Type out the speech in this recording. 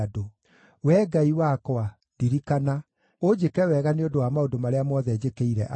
Wee Ngai wakwa, ndirikana, ũnjĩke wega nĩ ũndũ wa maũndũ marĩa mothe njĩkĩire andũ aya.